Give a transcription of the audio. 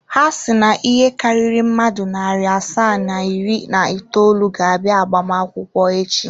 Ha si na ịhe karịrị mmadụ narị asaa na iri na itoolu ga-abịa agbamakwụkwọ echi.